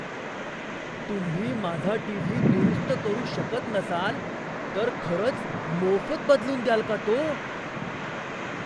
तुम्ही माझा टीव्ही दुरुस्त करू शकत नसाल तर खरंच मोफत बदलून द्याल का तो?